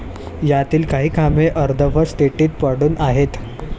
यातील काही कामे अर्धवट स्थितीत पडून आहेत.